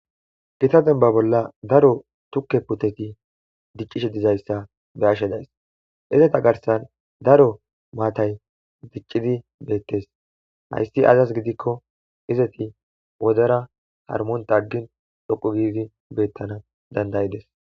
gita demba bolla daro tukke puteti diccishe dizayssa be ashe days izeta garsan daro maatay diccidi beettes hayssi azas gidikko izeti wodera harmonta aggin dhoqu giidi beettana dandayides